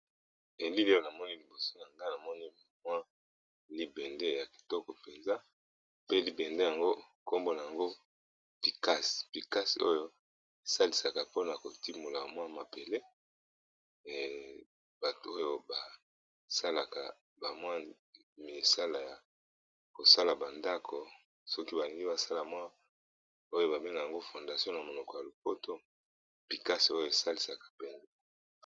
ELili oyo namoni liboso na nga ! namoni bamwa libende ya kitoko, mpenza pe Libende yango nkombo na yango pikase! pikase ,oyo esalisaka mpona kotimola mwa mabele, bato oyo basalaka bamwa misala ya kosala ba ndako soki ba Lingi basala mwa oyo ba benga yango fondation na monoko ya lopoto picase oyo esalisaka penza !